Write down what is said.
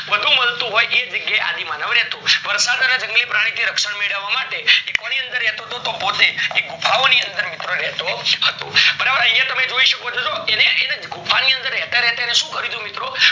બધું મળતું હોય એ જગ્યા એ આદિમાનવ રેતો વરસાદ અને જંગલી પ્રાણી ઓ થી રક્ષણ મેળવા માટે એ કોની અંદર રેતો પોતે કે ગુફાઓ ની અંદર રેતો હતો બરાબર યા તમે જોઈ શકો છો જો એને ગુફા ની અંદર રેતા રેતા શું કર્યું હતું તું મિત્રો